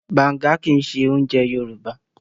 Bàǹga kì í ṣe oúnjẹ Yorùbá.